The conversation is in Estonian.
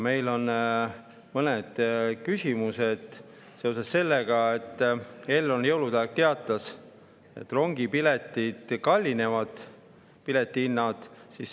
Meil on mõned küsimused seoses sellega, et Elron teatas jõulude ajal, et rongipiletite hinnad kallinevad.